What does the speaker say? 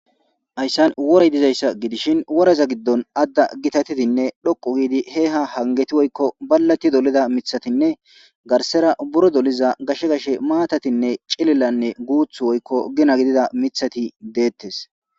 Hayssan worey dizayssa gidishin woraza giddon adda gitatidinne dhoqu giidi he ha hangeti woykko ballati dolida mithatinne garsera buro doliza gashe gashe maatatinne cilillanne guuth woykko gina gidida mithati deettes